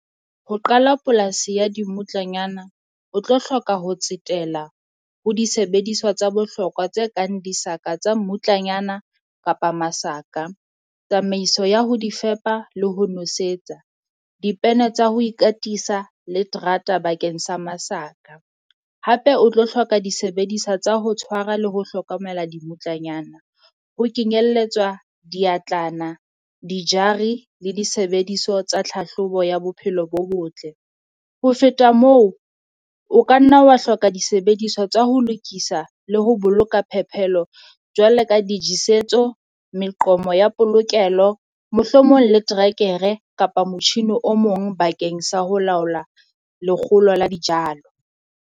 Ho qala polasi ya dimmutlanyana, o tlo hloka ho tsetela ho disebediswa tsa bohlokwa tse kang disaka tsa mmutlanyana kapa masaka. Tsamaiso ya ho di fepa le ho nosetsa, dipene tsa ho ikatisa le terata bakeng sa masaka. Hape o tlo hloka disebediswa tsa ho tshwara le ho hlokomela dimmutlanyana ho kenyelletswa diatlana, dijari, le disebediso tsa tlhahlobo ya bophelo bo botle. Ho feta moo, o ka nna wa hloka disebediswa tsa ho lokisa le ho boloka phepelo jwale ka dijesetso meqomo ya polokelo, mohlomong le trekere kapa motjhini o mong bakeng sa ho laola lekgolo la dijalo.